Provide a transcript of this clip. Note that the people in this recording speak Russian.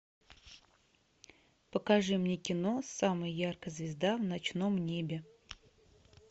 покажи мне кино самая яркая звезда в ночном небе